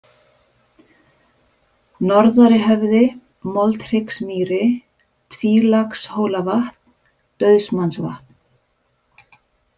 Norðarihöfði, Moldhryggsmýri, Tvílagshólavatn, Dauðsmannsvatn